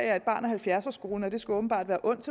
er et barn af halvfjerdserskolen og det skulle åbenbart være ondt